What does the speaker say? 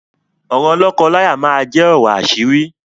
Ọ̀rọ̀ lọ́kọ-láya máa jẹ ọ̀rọ̀ àṣírí